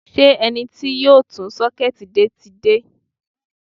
Ṣé ẹni tí yóò tún sọ́kẹ́ẹ̀tì ṣe ti dé?